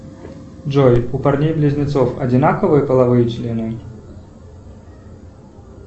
джой у парней близнецов одинаковые половые члены